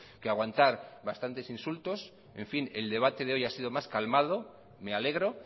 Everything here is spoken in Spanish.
que aguantar bastantes insultos en fin el debate de hoy ha sido más calmado me alegro